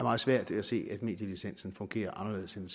meget svært ved at se at medielicensen fungerer anderledes end